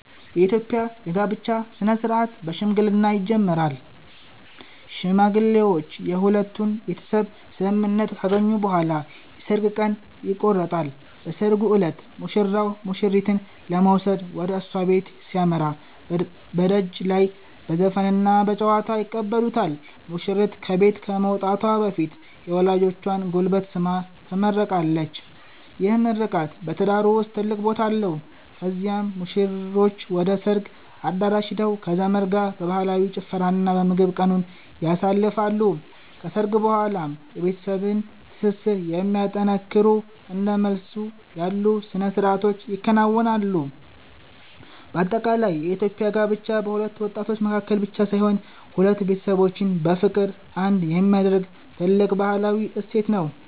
የኢትዮጵያ የጋብቻ ሥነ-ሥርዓት በሽምግልና ይጀምራል። ሽማግሌዎች የሁለቱን ቤተሰብ ስምምነት ካገኙ በኋላ የሰርግ ቀን ይቆረጣል። በሰርጉ ዕለት ሙሽራው ሙሽሪትን ለመውሰድ ወደ እሷ ቤት ሲያመራ፣ በደጅ ላይ በዘፈንና በጨዋታ ይቀበሉታል። ሙሽሪት ከቤት ከመውጣቷ በፊት የወላጆቿን ጉልበት ስማ ትመረቃለች፤ ይህ ምርቃት በትዳሩ ውስጥ ትልቅ ቦታ አለው። ከዚያም ሙሽሮቹ ወደ ሰርግ አዳራሽ ሄደው ከዘመድ ጋር በባህላዊ ጭፈራና በምግብ ቀኑን ያሳልፋሉ። ከሰርግ በኋላም የቤተሰብን ትስስር የሚያጠነክሩ እንደ መልስ ያሉ ሥነ-ሥርዓቶች ይከናወናሉ። በአጠቃላይ የኢትዮጵያ ጋብቻ በሁለት ወጣቶች መካከል ብቻ ሳይሆን፣ ሁለት ቤተሰቦችን በፍቅር አንድ የሚያደርግ ትልቅ ባህላዊ እሴት ነው።